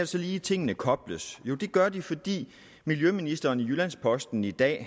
så lige tingene kobles jo det gør de fordi miljøministeren siger i jyllands posten i dag